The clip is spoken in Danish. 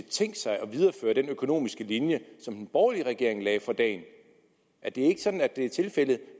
tænkt sig at videreføre den økonomiske linje som den borgerlige regering lagde for dagen er det ikke sådan at det er tilfældet